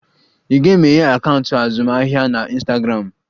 I ga-emeghe akaụntụ azụmaahịa na Ịnstagramụ?